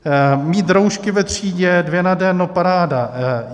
Mít roušky ve třídě - dvě na den, no paráda.